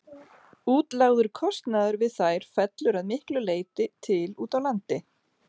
Útlagður kostnaður við þær fellur að miklu leyti til úti á landi.